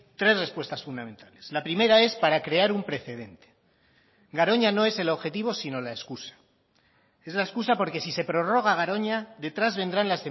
tres respuestas fundamentales la primera es para crear un precedente garoña no es el objetivo sino la excusa es la excusa porque si se prorroga garoña detrás vendrán